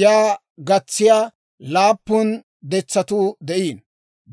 Yaa gatsiyaa laappun detsatuu de'iino.